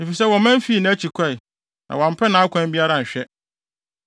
efisɛ wɔman fii nʼakyi kɔe na wɔampɛ nʼakwan biara anhwɛ.